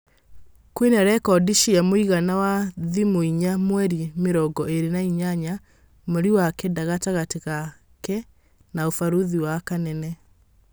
Kwĩna rekondi cia mũigana wa thimũinya mweri mĩrongo ĩrĩ na inyanya mweri wa kenda gatagatĩ gake na ũbarũthĩ na Kanene.